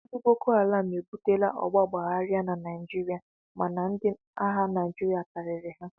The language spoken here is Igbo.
Ndị bokoharam ebutela ọgba aghara n'obodo Naijiria mana ndi agha Naijiria karịrị ha